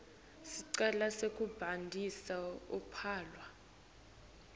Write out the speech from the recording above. sicelo sekubhalisa luphawu